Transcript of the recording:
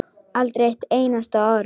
Aldrei eitt einasta orð.